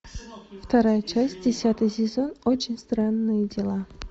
вторая часть десятый сезон очень странные дела